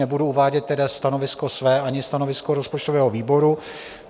Nebudu uvádět tedy stanovisko své ani stanovisko rozpočtového výboru.